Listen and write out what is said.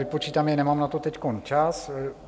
Vypočítám je, nemám na to teď čas.